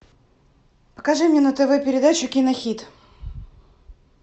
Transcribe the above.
покажи мне на тв передачу кинохит